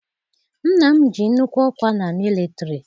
Nna m ji nnukwu ọkwa na militari.